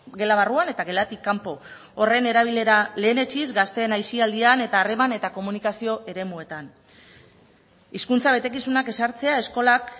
gela barruan eta gelatik kanpo horren erabilera lehenetsiz gazteen aisialdian eta harreman eta komunikazio eremuetan hizkuntza betekizunak ezartzea eskolak